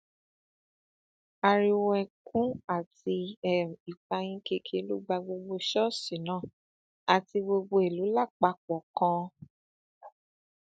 ariwo ẹkún àti um ìpayínkeke ló gba gbogbo ṣọọṣì náà àti gbogbo ìlú lápapọ kan um